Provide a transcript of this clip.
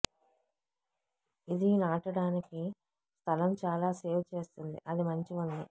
ఇది నాటడానికి స్థలం చాలా సేవ్ చేస్తుంది అది మంచి ఉంది